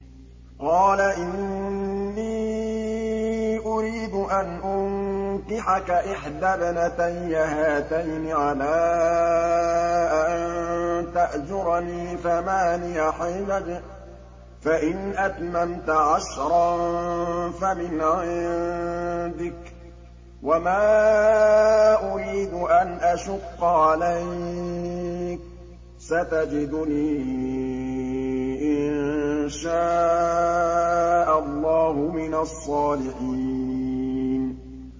قَالَ إِنِّي أُرِيدُ أَنْ أُنكِحَكَ إِحْدَى ابْنَتَيَّ هَاتَيْنِ عَلَىٰ أَن تَأْجُرَنِي ثَمَانِيَ حِجَجٍ ۖ فَإِنْ أَتْمَمْتَ عَشْرًا فَمِنْ عِندِكَ ۖ وَمَا أُرِيدُ أَنْ أَشُقَّ عَلَيْكَ ۚ سَتَجِدُنِي إِن شَاءَ اللَّهُ مِنَ الصَّالِحِينَ